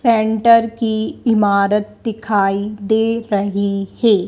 Centre की इमारत दिखाई दे रही है।